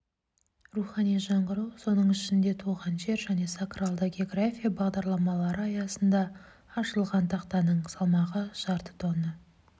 рухани жаңғыру соның ішінде туған жер және сакралды география бағдарламалары аясында ашылған тақтаның салмағы жарты тонна